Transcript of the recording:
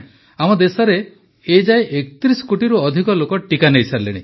ପ୍ରଧାନମନ୍ତ୍ରୀ ଆମ ଦେଶରେ ଏଯାଏ ୩୧ କୋଟିରୁ ଅଧିକ ଲୋକ ଟିକା ନେଇସାରିଲେଣି